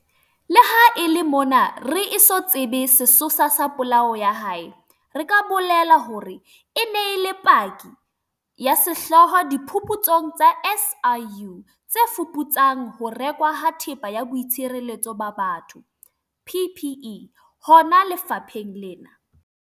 Leha e le mona re eso tsebe sesosa sa polao ya hae, re ka bolela hore e ne e le paki ya sehlooho diphuputsong tsa SIU tse fuputsang ho rekwa ha Thepa ya Boitshireletso ba Batho, PPE, hona lefapheng lena.